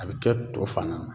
A bɛ kɛ to fana na